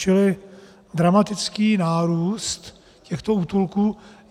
Čili dramatický nárůst těchto útulků.